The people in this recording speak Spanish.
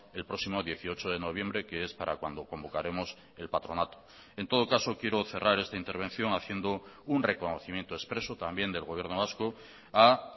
el próximo dieciocho de noviembre que es para cuando convocaremos el patronato en todo caso quiero cerrar esta intervención haciendo un reconocimiento expreso también del gobierno vasco a